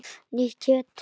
Nýtt kjöt!